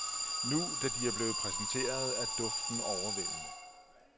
Nu, da de er blevet præsenteret, er duften overvældende.